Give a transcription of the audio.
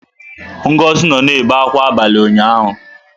Ngozi nọ na-ebe akwa abalị ụnyaahụ.